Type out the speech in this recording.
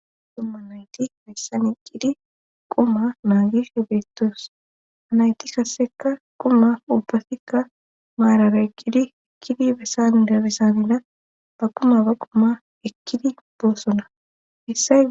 dumma nayti missani eqidi quma maagishe beettoos hanayti kasseka quma ubbafikka maarara eqqidi ekkidi besanida besanida ba kuma ba quma ekkidi boossona issay